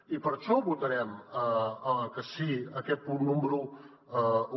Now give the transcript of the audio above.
i per això votarem que sí en aquest punt número un